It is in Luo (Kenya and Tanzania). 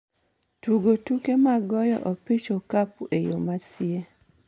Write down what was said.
tugo tuke mag goyo opich okapu e yo masie